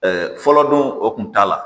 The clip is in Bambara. fɔlɔ dun o kun t'a la